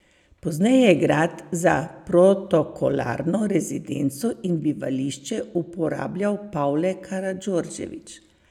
Pozneje je grad za protokolarno rezidenco in bivališče uporabljal Pavle Karadžordžević.